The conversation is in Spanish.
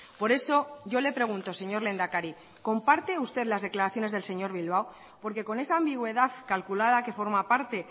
por eso yo le pregunto señor lehendakari comparte usted las declaraciones del señor bilbao porque con esa ambigüedad calculada que forma parte